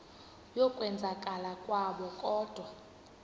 yokwenzakala kwabo kodwa